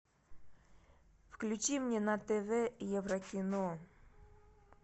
включи мне на тв еврокино